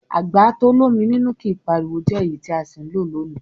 Àgbà to l'ómi nínú kìí pariwo jẹ́ èyí tí a sì ń lò lónìí.